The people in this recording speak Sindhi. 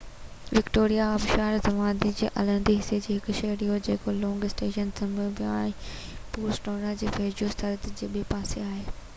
وڪٽوريا آبشار زمباوي جي الهندي حصي جو هڪ شهر آهي جيڪو لونگ اسٽون زيمبيا ۽ بوٽسوانا جي ويجهو سرحد جي ٻي پاسي آهي